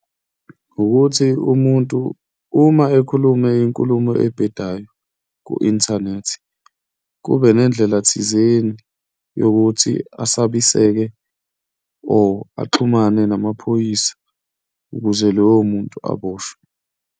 Ukuthi umuntu uma ekhulume inkulumo ebhedayo ku-inthanethi, kube nendlela thizeni yokuthi asabiseke or axhumane namaphoyisa ukuze loyo muntu aboshwe.